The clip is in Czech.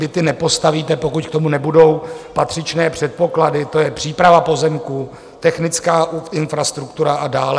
Byty nepostavíte, pokud k tomu nebudou patřičné předpoklady, to je příprava pozemků, technická infrastruktura a dále.